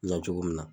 Na cogo min na